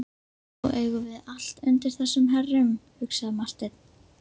Nú eigum við allt undir þessum herrum, hugsaði Marteinn.